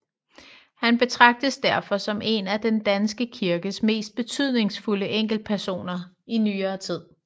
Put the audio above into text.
Han betragtes derfor som en af den danske kirkes mest betydningsfulde enkeltpersoner i nyere tid